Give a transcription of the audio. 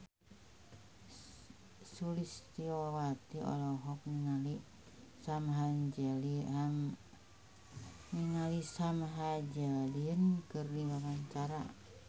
Sulistyowati olohok ningali Sam Hazeldine keur diwawancara